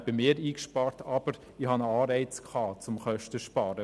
Ich hatte aber einen Anreiz, Kosten zu sparen.